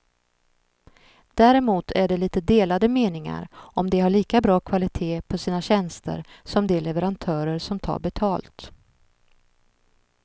Däremot är det lite delade meningar om de har lika bra kvalitet på sina tjänster som de leverantörer som tar betalt.